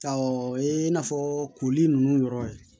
o ye n'a fɔ koli ninnu yɔrɔ ye